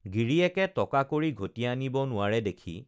গিৰিয়েকে টকা কড়ি ঘটি আনিব নোৱাৰে দেখি